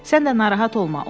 Sən də narahat olma,